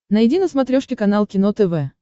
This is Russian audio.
найди на смотрешке канал кино тв